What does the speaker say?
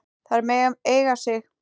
Þær mega eiga sig.